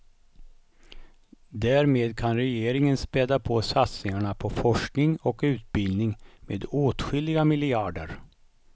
Därmed kan regeringen späda på satsningarna på forskning och utbildning med åtskilliga miljarder.